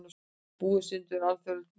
Búa sig undir alþjóðlegt mót